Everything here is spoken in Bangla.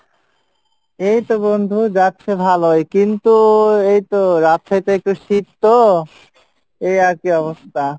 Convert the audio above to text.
এইতো বন্ধু যাচ্ছে ভালোই কিন্তু এইতো রাজশাহী তে একটু শীত তো, এই আর কী অবস্থা।